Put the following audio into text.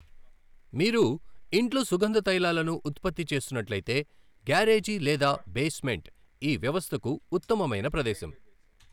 మీరు ఇంట్లో సుగంధ తైలాలను ఉత్పత్తి చేస్తున్నట్లయితే, గ్యారేజీ లేదా బేస్మెంట్ ఈ వ్యవస్థకు ఉత్తమమైన ప్రదేశం.